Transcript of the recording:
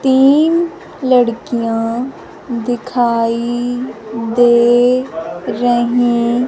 तीन लड़कियां दिखाई दे रहीं।